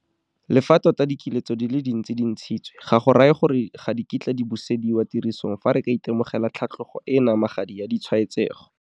Le fa tota dikiletso di le dintsi di ntshitswe, ga go raye gore ga di kitla di busediwa tirisong fa re ka itemogela tlhatlogo e e namagadi ya ditshwaetsego.